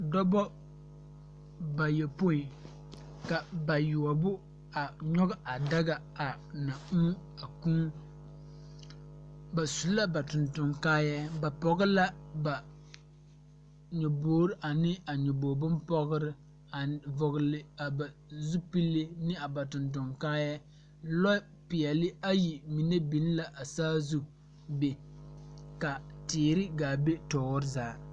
Dɔbɔ bayɔpoi ka bayoɔbo a nyoge a daga ana uu a kūū ba su la ba tonton kaayɛɛ ba pɔg la ba nyobogre ane a nyoboge bonpɔgrre aneŋ vɔgle a ba zupile ne a ba tonton kaayɛɛ lɔ peɛɛli ayi mine biŋ la a saazu be ka teere gaa be tɔɔre zaa.